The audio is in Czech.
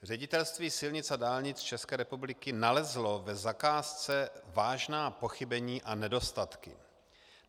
Ředitelství silnic a dálnic České republiky nalezlo v zakázce vážná pochybení a nedostatky.